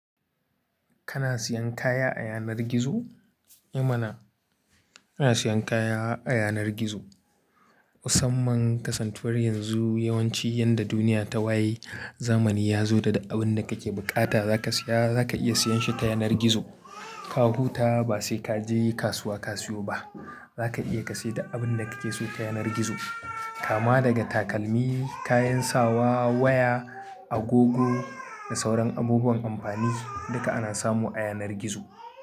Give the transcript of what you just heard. Kana siyan kaya a yanar gizo? Eh! Mana ina siyan kaya a yanar gizo. Musamman kasantuwar yanzu, yawanci yanda duniya ta waye, zamani ya zo da duk abin da kake buƙata zaka siya, zaka iya siyan shi ta yanar gizo. Ka huta ba sai ka je kasuwa ka siyo ba. Zaka iya ka sayi duk abin da kake so ta yanar gizo. Kama daga takalmi, kayan sawa, waya, agogo da sauran abubuwan amfani, duka ana samu a yanar gizo.